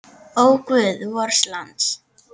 Ó, guð vors lands!